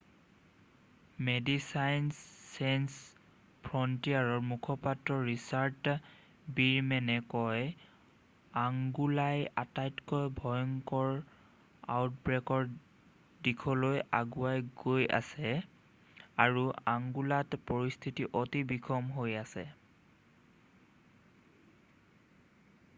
"মেডিচাইনছ Sans ফ্ৰণ্টিয়াৰৰ মুখপাত্ৰ Richard ৱীৰমেনে কয়: "আংগোলাই আটাইতকৈ ভয়ংকৰ আউটব্ৰেকৰ দিশলৈ আগুৱাই গৈ আছে আৰু আংগোলাত পৰিস্থিতি অতি বিষম হৈ আছে।""